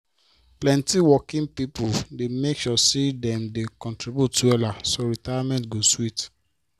plenty working people dey make sure say dem dey contribute wella so retirement go sweet